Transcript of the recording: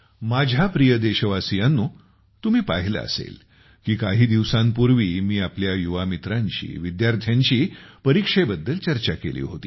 माझ्या प्रिय देशवासियांनो तुम्ही पाहिले असेल की काही दिवसांपूर्वी मी आपल्या युवा मित्रांशी विद्यार्थ्यांशी परीक्षेवर चर्चा केली होती